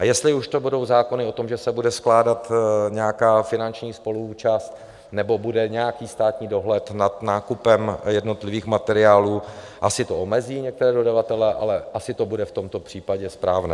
A jestli už to budou zákony o tom, že se bude skládat nějaká finanční spoluúčast, nebo bude nějaký státní dohled nad nákupem jednotlivých materiálů, asi to omezí některé dodavatele, ale asi to bude v tomto případě správné.